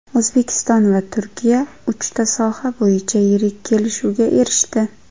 O‘zbekiston va Turkiya uchta soha bo‘yicha yirik kelishuvga erishdi .